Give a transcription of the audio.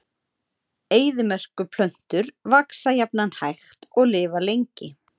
Eyðimerkurplöntur vaxa jafnan hægt og lifa lengi.